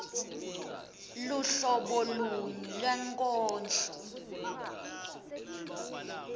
luhlobo luni lwenkondlo